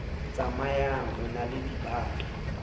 tsamayang o na le dibato